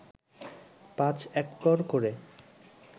পাঁচ একর করে